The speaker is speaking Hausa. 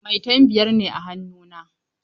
Maitan biyar ne a hannu na.